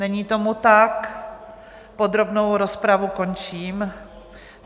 Není tomu tak, podrobnou rozpravu končím.